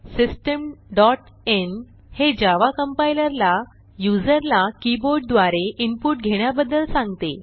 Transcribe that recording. system dot in हे Java compiler ला युजरला कीबोर्ड द्वारे इनपुट घेण्याबद्दल सांगते